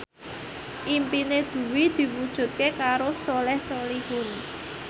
impine Dwi diwujudke karo Soleh Solihun